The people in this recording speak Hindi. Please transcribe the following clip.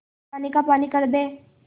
पानी का पानी कर दे